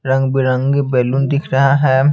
रंगबिरंगी बलून दिख रहा हैं।